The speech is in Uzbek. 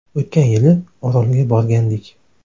O‘tgan yili Orolga borgandik.